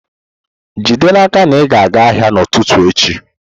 Jide n'aka na ị ga-aga ahịa n'ụtụtụ echi!